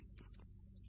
அனைவரும் நன்றி ஐயா